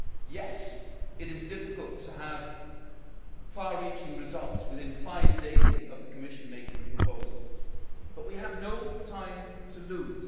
Yes, it is difficult to have far reaching results within five days of the Commission making proposals, but we have no time to lose.